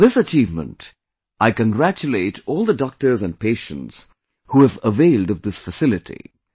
For this achievement, I congratulate all the doctors and patients who have availed of this facility